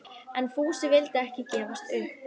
En Fúsi vildi ekki gefast upp.